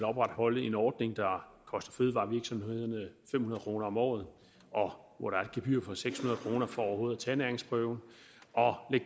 opretholde en ordning der koster fødevarevirksomhederne fem hundrede kroner om året og hvor der er et gebyr på seks hundrede kroner for overhovedet at tage næringsprøven og